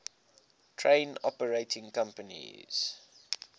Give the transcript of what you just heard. train operating companies